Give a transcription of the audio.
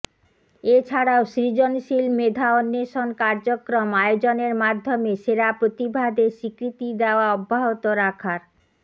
এ ছাড়াও সৃজনশীল মেধা অন্বেষণ কার্যক্রম আয়োজনের মাধ্যমে সেরা প্রতিভাদের স্বীকৃতি দেওয়া অব্যাহত রাখার